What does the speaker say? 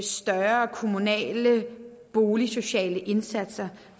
større kommunale boligsociale indsatser